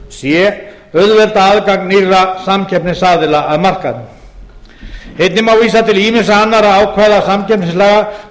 c auðvelda aðgang nýrra samkeppnisaðila að markaðnum einnig má vísa til ýmissa annarra ákvæða samkeppnislaganna svo